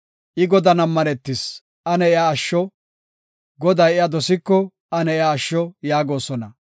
“I Godan ammanetis; ane iya asho; Goday iya dosiko, ane iya asho” yaagosona.